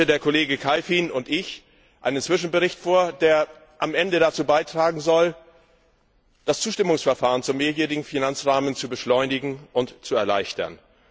Der Kollege Kalfin und ich legen heute einen Zwischenbericht vor, der am Ende dazu beitragen soll, das Zustimmungsverfahren zum Mehrjährigen Finanzrahmen zu beschleunigen und zu erleichtern.